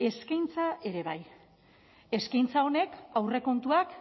eskaintza ere bai eskaintza honek aurrekontuak